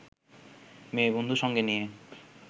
মেয়েবন্ধু সঙ্গে নিয়ে